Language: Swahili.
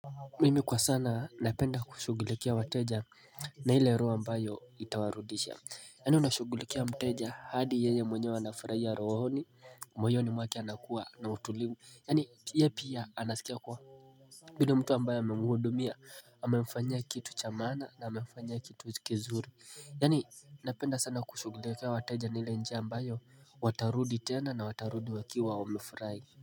Mimi kwa sana napenda kushughulikia wateja na ile roho ambayo itawarudisha Yaani unashughulikia mteja hadi yeye mwenyewe anafurahia rohoni moyoni mwake anakuwa na utulivu Yaani ye pia anasikia kuwa yule mtu ambayo amemulhudumia amemfanyia kitu cha maana na amemfanyia kitu kizuri Yaani napenda sana kushughulikia wateja na ile njia ambayo watarudi tena na watarudi wakiwa wamefurahi.